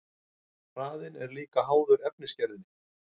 Hraðinn er líka háður efnisgerðinni.